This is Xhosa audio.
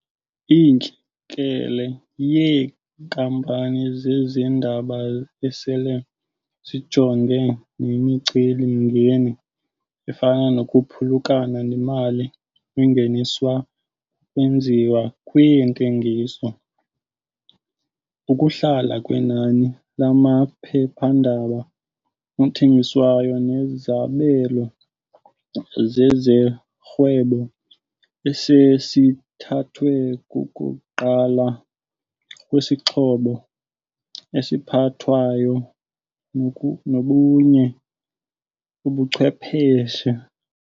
Intlekele yeenkampani zezendaba esele zijongene nemicelimngeni efana nokuphulukana nemali engeniswa kukwenziwa kweentengiso, ukuhla kwenani lamaphephandaba athengiswayo nezabelo zezorhwebo esezithathwe kukuqala kwezixhobo eziphathwayo nobunye ubuchwepheshe.